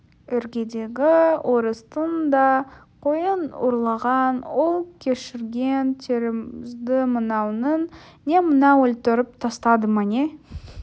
іргедегі орыстың да қойын ұрлаған ол кешірген тәрізді мынауың не мынау не өлтіріп тастады ма не